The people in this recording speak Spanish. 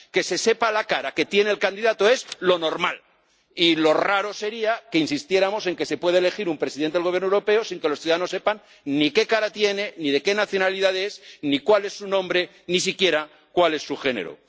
que se sepa la cara que tiene el candidato es lo normal y lo raro sería que insistiéramos en que se pueda elegir un presidente del gobierno europeo sin que los ciudadanos sepan ni qué cara tiene ni de qué nacionalidad es ni cuál es su nombre, ni siquiera cuál es su género.